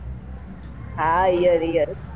હા ear ear